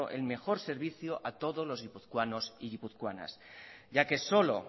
el mejor servicio a todos los guipuzcoanos y guipuzcoanas ya que solo